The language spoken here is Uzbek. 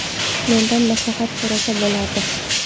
Mendan maslahat so‘rasa bo‘lardi.